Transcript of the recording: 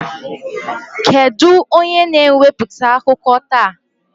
Kedu onye na-ewepụta akụkọ taa?